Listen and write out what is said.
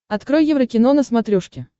открой еврокино на смотрешке